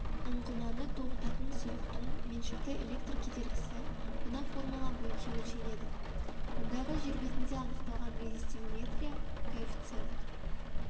ұңғыманы тоғытатын сұйықтың меншікті электр кедергісі мына формула бойынша өлшенеді мұндағы жер бетінде анықталған резистивиметрия коэффициент